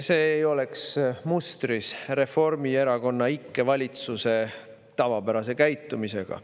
See ei oleks mustris Reformierakonna ikke valitsuse tavapärase käitumisega.